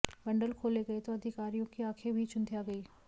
bundle खोले गए तो अधिकारियों की आंखें भी चुंधिया गईं